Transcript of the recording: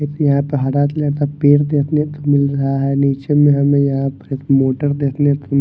एक यहाँ पे हरा कलर का पेड़ देखने को मिल रहा है नीचे में हमें यहाँ पर एक मोटर देखने को म --